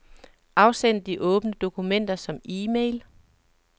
Afsend de åbne dokumenter som e-mail.